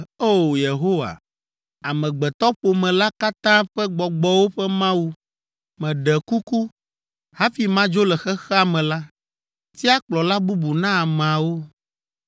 “O! Yehowa, amegbetɔƒome la katã ƒe gbɔgbɔwo ƒe Mawu, meɖe kuku, hafi madzo le xexea me la, tia kplɔla bubu na ameawo,